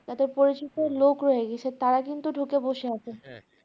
যাদের পরিচিত লোক রয়ে গেছে তারা কিন্তু ঢুকে বসে আছে।